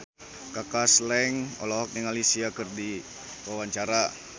Kaka Slank olohok ningali Sia keur diwawancara